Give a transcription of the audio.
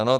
Ano.